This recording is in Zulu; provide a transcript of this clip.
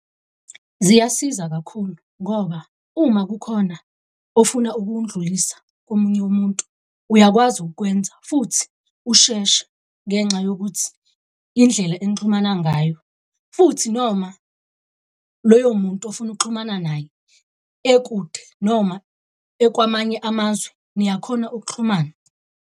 Ziyasiza kakhulu ngoba uma kukhona ofuna ukundlulisa komunye umuntu uyakwazi ukukwenza futhi usheshe ngenxa yokuthi indlela enixhumana ngayo. Futhi noma loyo muntu ofuna ukuxhumana naye ekude, noma ekwamanye amazwe niyakhona ukuxhumana.